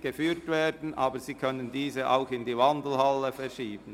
geführt werden, aber sie können diese auch in die Wandelhalle verlegen.